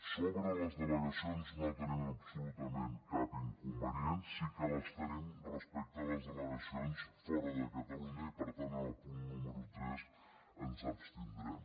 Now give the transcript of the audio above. sobre les delegacions no hi tenim absolutament cap inconvenient sí que en tenim respecte a les delegacions fora de catalunya i per tant en el punt número tres ens abstindrem